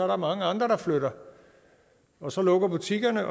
der mange andre der flytter og så lukker butikkerne